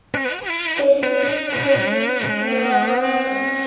Fleiri teikn eru á lofti.